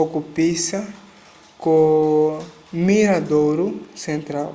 okupisa ko miradouro central